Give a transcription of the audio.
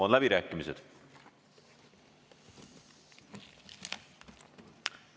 Avan läbirääkimised.